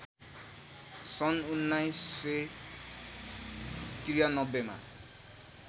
सन् १९९३ मा